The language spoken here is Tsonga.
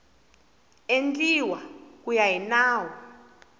endliwa ku ya hi nawu